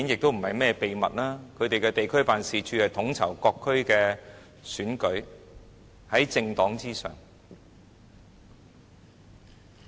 他們的地區辦事處統籌各區的選舉，是在政黨之上。